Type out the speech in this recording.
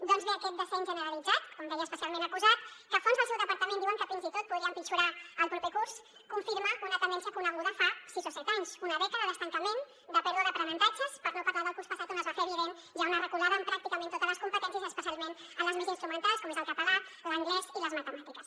doncs bé aquest descens generalitzat com deia especialment acusat que fonts del seu departament diuen que fins i tot podria empitjorar el proper curs confirma una tendència coneguda fa sis o set anys una dècada d’estancament de pèrdua d’aprenentatges per no parlar del curs passat on es va fer evident ja una reculada en pràcticament totes les competències i especialment en les més instrumentals com és el català l’anglès i les matemàtiques